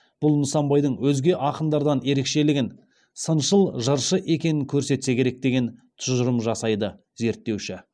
бұл нысанбайдың өзге акындардан ерекшелігін сыншыл жыршы екенін көрсетсе керек деген тұжырым жасайды зерттеуші